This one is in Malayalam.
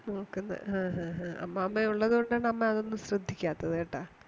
ഹാഹാഹാ അമ്മാമയുള്ളത് കൊണ്ടാണ് അമ്മയതൊന്നും ശ്രദിക്കാതത് കേട്ടാ